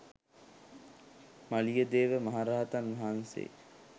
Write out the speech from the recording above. මලියදේව මහ රහතන් වහන්සේ